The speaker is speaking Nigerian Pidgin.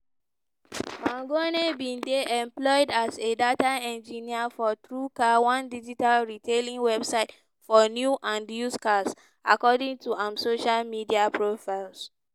mangione bin dey employed as a data engineer for truecar one digital retailing website for new and used cars according to im social media profiles.